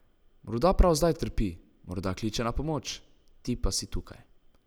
Morda prav zdaj trpi, morda kliče na pomoč, ti pa si tukaj.